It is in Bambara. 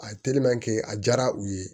A ye a diyara u ye